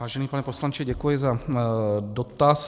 Vážený pane poslanče, děkuji za dotaz.